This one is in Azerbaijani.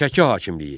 Şəki hakimliyi.